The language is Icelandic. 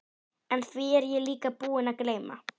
En því er ég líka búinn að gleyma.